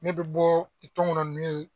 Ne bɛ bɔ ni tɔnkɔnɔ ninnu ye